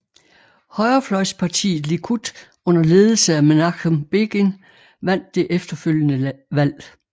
Højrefløjspartiet Likud under ledelse af Menachem Begin vandt det efterfølgende valg